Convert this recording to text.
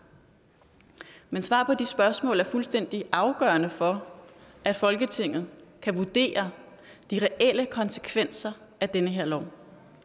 men svar på de spørgsmål er fuldstændig afgørende for at folketinget kan vurdere de reelle konsekvenser af den her lov